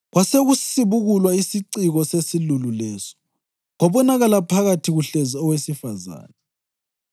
Kwasekusibukulwa isiciko sesilulu leso, kwabonakala phakathi kuhlezi owesifazane!